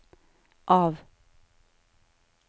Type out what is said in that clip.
av